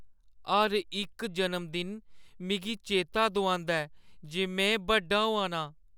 हर इक जनमदिन मिगी चेता दुआंदा ऐ जे में बड्डा होआ नां।